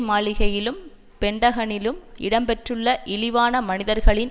மாளிகையிலும் பென்டகனிலும் இடம்பெற்றுள்ள இழிவான மனிதர்களின்